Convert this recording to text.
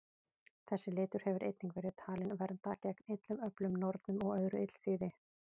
Þessi litur hefur einnig verið talinn vernda gegn illum öflum, nornum og öðru illþýði.